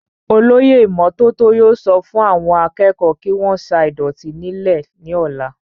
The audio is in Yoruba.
olóyè ìmọ́tótó yóò sọ fún àwọn akẹ́kọ̀ọ́ kí wọ́n sa ìdọ̀tí nílẹ̀ ní ọ̀la